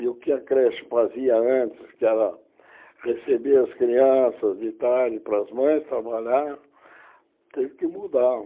E o que a creche fazia antes, que era receber as crianças de tarde para as mães trabalharem, teve que mudar.